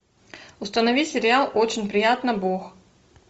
установи сериал очень приятно бог